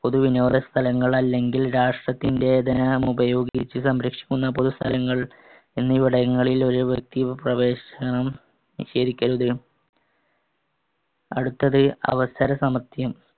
പൊതുവിനോദസ്ഥലങ്ങൾ അല്ലെങ്കിൽ രാഷ്ടത്തിന്‍റെ ധനമുപയോഗിച്ച് സംരക്ഷിക്കുന്ന പൊതുസ്ഥലങ്ങൾ എന്നിവിടങ്ങളിൽ ഒരു വ്യക്തി പ്രവേശനം നിഷേധിക്കരുത്. അടുത്തത് അവസര സമത്വം.